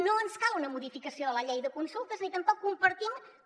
no ens cal una modificació de la llei de consultes ni tampoc compartim com